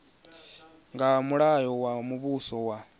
nga mulayo wa muvhuso wa